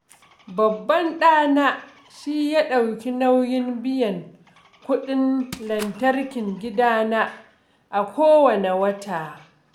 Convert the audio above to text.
Babban ɗana shi ya ɗauki nauyin biyan kuɗin lantarkin gidana a kowanne wata